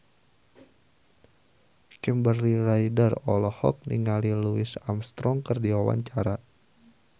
Kimberly Ryder olohok ningali Louis Armstrong keur diwawancara